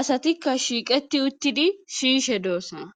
asatikka shiiqeti uttidi siyishe doossana